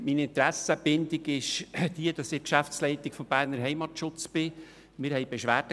Meine Interessenbindung ist die, dass ich der Geschäftsleitung des Berner Heimatschutzes angehöre.